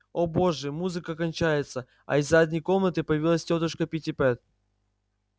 о боже музыка кончается а из задней комнаты появилась тётушка питтипэт